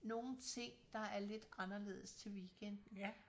Nogle ting der er lidt anderledes til weekenden